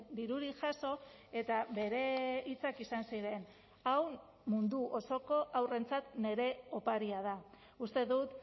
dirurik jaso eta bere hitzak izan ziren hau mundu osoko haurrentzat nire oparia da uste dut